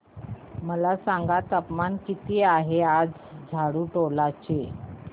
मला सांगा तापमान किती आहे आज झाडुटोला चे